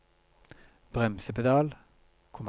bremsepedal